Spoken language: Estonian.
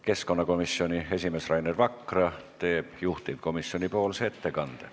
Keskkonnakomisjoni esimees Rainer Vakra teeb juhtivkomisjoni ettekande.